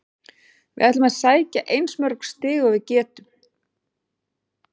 Við ætlum að sækja eins mörg stig og við getum.